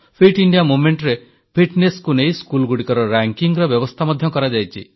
fit India ମୁଭମେଂଟରେ ଫିଟନେସ୍କୁ ନେଇ ସ୍କୁଲଗୁଡ଼ିକର ରେଙ୍କିଙ୍ଗର ବ୍ୟବସ୍ଥା ମଧ୍ୟ କରାଯାଇଛି